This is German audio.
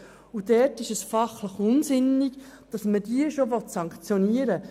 Es ist fachlich unsinnig, sie schon bestrafen zu wollen.